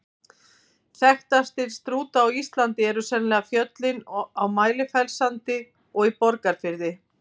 Þekktastir Strúta á Íslandi eru sennilega fjöllin á Mælifellssandi og í Borgarfirði.